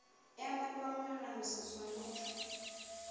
ya mmepe wa monagano seswantšho